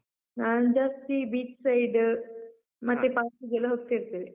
ನಾನ್ ಜಾಸ್ತಿ beach side , ಮತ್ತೆ park ಗೆಲ್ಲ ಹೋಗ್ತಾ ಇರ್ತೇವೆ.